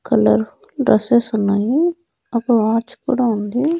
Colour dresses ఉన్నాయి ఒక watch కూడా ఉంది.